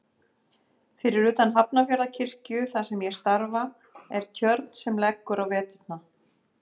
Fyrir utan Hafnarfjarðarkirkju þar sem ég starfa er tjörn sem leggur á veturna.